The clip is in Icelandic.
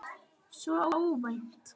Svo óvænt.